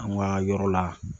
An ka yɔrɔ la.